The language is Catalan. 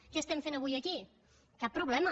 què estem fent avui aquí cap problema